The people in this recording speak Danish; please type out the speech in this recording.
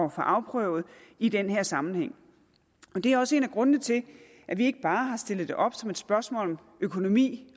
at få afprøvet i den her sammenhæng det er også en af grundene til at vi ikke bare har stillet det op som et spørgsmål om økonomi